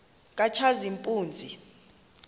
katshazimpuzi